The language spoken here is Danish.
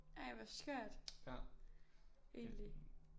Ej hvor skørt egentlig